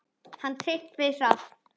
Þinn Tryggvi Hrafn.